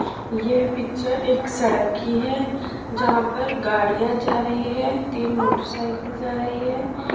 ये पिक्चर एक सड़क की है जहां पर गाड़ियां जा रही है तीन मोटरसाइकिल जा रही है।